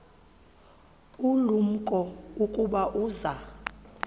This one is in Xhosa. ulumko ukuba uza